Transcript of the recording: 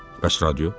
Bəs radio?